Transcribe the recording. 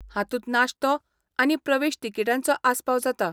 हातूंत नाश्तो आनी प्रवेश तिकीटांचो आस्पाव जाता.